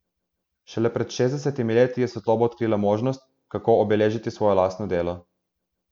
Šele pred šestdesetimi leti je svetloba odkrila možnost, kako obeležiti svoje lastno delo.